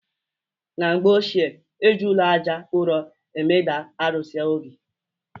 Na mgbe ochie, eji ụlọ Àjà ụrọ emeda arụsị obi